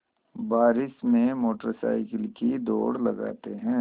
बारिश में motorcycle की दौड़ लगाते हैं